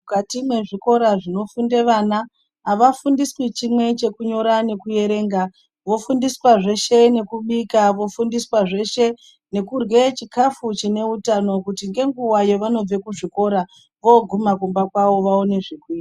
Mukati mwezvikora zvinofunde vana havafundiswi chimwe chekunyora nekuverenga vofundiswa zveshe nekubika vofundiswa zveshe nekurye chikafu chine utano kuti ngenguva yavanobve kuzvikora voguma kumba kwavo vaone zvekuita.